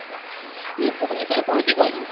ଭୁବନେଶ୍ୱର ରେ ଆମେ ପହଂଚି ଗ୍ନୁ